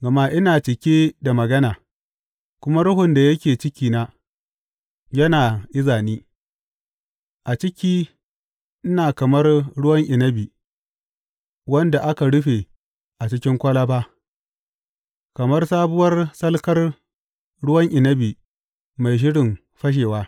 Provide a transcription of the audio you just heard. Gama ina cike da magana, kuma ruhun da yake cikina yana iza ni; a ciki ina kamar ruwan inabi wanda aka rufe a cikin kwalaba, kamar sabuwar salkar ruwan inabi mai shirin fashewa.